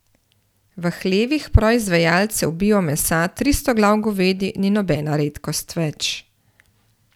V hlevih proizvajalcev bio mesa tristo glav govedi ni nobena redkost več.